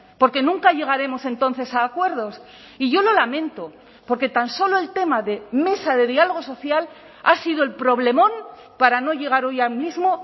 porque nunca llegaremos entonces a acuerdos y yo lo lamento porque tan solo el tema de mesa de diálogo social ha sido el problemón para no llegar hoy al mismo